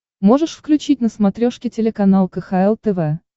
можешь включить на смотрешке телеканал кхл тв